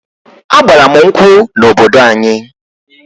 A gbara m nkwụ n'obodo anyi